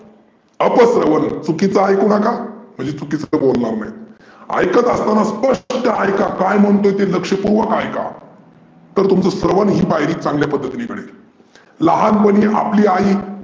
अपस्रवन चुकीचं ऐकु नका, म्हणजे चुकीचं बोलनार नाही. ऐकत असताना स्पष्ट ऐका काय म्हणतोय ते लक्षपुर्वक ऐका. तर तुमचं स्रवन ही पायरी चांगल्या पद्धतीने भरेल. लहानपणी आपली आई.